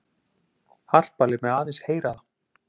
Harpa lét mig aðeins heyra það.